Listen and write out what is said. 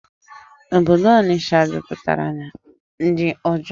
Obodo Ọnịsha juputara na ndi ojọọ